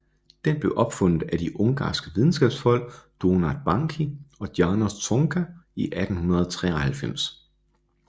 Den blev opfundet af de ungarske videnskabsfolk Donát Bánki og János Csonka i 1893